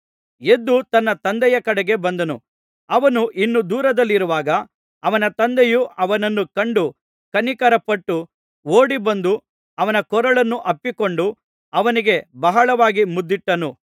ಎದ್ದು ತನ್ನ ತಂದೆಯ ಕಡೆಗೆ ಬಂದನು ಅವನು ಇನ್ನೂ ದೂರದಲ್ಲಿರುವಾಗ ಅವನ ತಂದೆಯು ಅವನನ್ನು ಕಂಡು ಕನಿಕರಪಟ್ಟು ಓಡಿಬಂದು ಅವನ ಕೊರಳನ್ನು ಅಪ್ಪಿಕೊಂಡು ಅವನಿಗೆ ಬಹಳವಾಗಿ ಮುದ್ದಿಟ್ಟನು